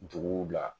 Duguw la